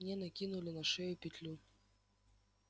мне накинули на шею петлю